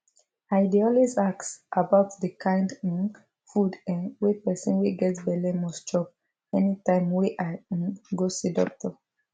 i dey always ask about the kind um food um wey person wey get belle must chop anytime wey i um go see doctor